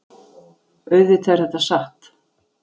Auðvitað er þetta satt.